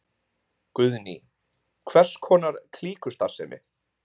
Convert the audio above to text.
Guðný: Hvers konar klíkustarfsemi?